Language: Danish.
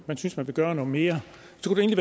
man synes man vil gøre noget mere